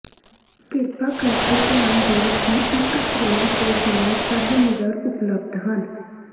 ਕਿਰਪਾ ਕਰਕੇ ਧਿਆਨ ਦਿਓ ਕਿ ਇੱਕ ਫਰੇਮ ਤੋਂ ਬਿਨਾਂ ਸਭ ਮਿਰਰ ਉਪਲਬਧ ਹਨ